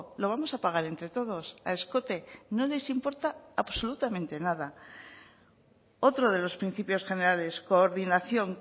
lo vamos a pagar entre todos a escote no les importa absolutamente nada otro de los principios generales coordinación